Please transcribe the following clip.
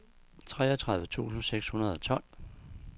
treogtredive tusind seks hundrede og tolv